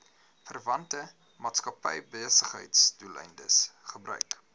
verwante maatskappybesigheidsdoeleindes gebruik